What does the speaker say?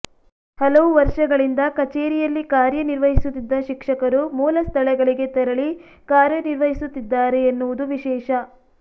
ಹಲವು ವರ್ಷಗಳಿಂದ ಕಚೇರಿಯಲ್ಲಿ ಕಾರ್ಯನಿರ್ವಹಿಸುತ್ತಿದ್ದ ಶಿಕ್ಷಕರು ಮೂಲ ಸ್ಥಳಗಳಿಗೆ ತೆರಳಿ ಕಾರ್ಯನಿರ್ವಹಿಸುತ್ತಿದ್ದಾರೆ ಎನ್ನುವುದು ವಿಶೇಷ